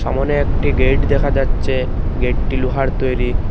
সামনে একটি গেট দেখা যাচ্ছে গেটটি লোহার তৈরি।